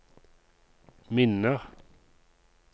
minner